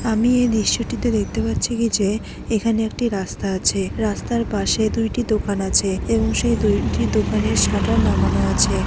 আমি এই দৃশ্যটিতে দেখতে পাচ্ছি কি যে এখানে একটি রাস্তা আছে। রাস্তার পাশে দুইটি দোকান আছে এবং সেই দোকানের শাটার নামানো আছে।